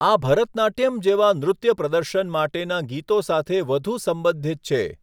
આ ભરતનાટ્યમ જેવા નૃત્ય પ્રદર્શન માટેના ગીતો સાથે વધુ સંબંધિત છે.